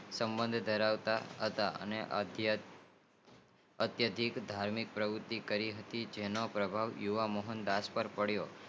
સબંધ ધરાવતા હતા આથી અતિયંત ધાર્મિક પ્રવુતિ કરી હતી તેનો પ્રભાવ જોવા મોહનદાસ પાર પડીઓ